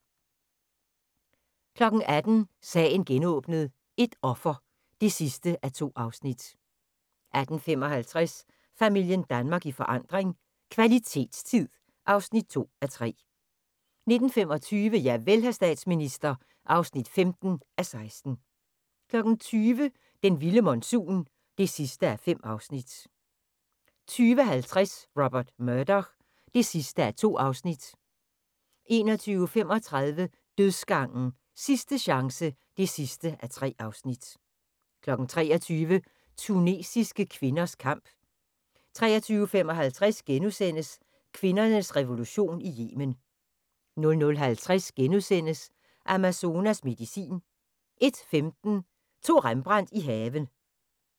18:00: Sagen genåbnet: Et offer (2:2) 18:55: Familien Danmark i forandring - kvalitetstid (2:3) 19:25: Javel, hr. statsminister (15:16) 20:00: Den vilde monsun (5:5) 20:50: Robert Murdoch (2:2) 21:35: Dødsgangen – Sidste chance (3:3) 23:00: Tunesiske kvinders kamp 23:55: Kvindernes revolution i Yemen * 00:50: Amazonas medicin * 01:15: To Rembrandt i haven